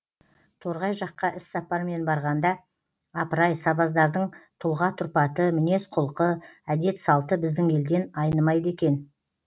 торғай жаққа іссапармен барғанда апырай сабаздардың тұлға тұрпаты мінез құлқы әдет салты біздің елден айнымайды екен